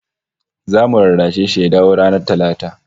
Zamu rarrashe shi ya dawo ranar Talata